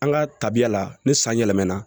An ka tabiya la ni san yɛlɛmana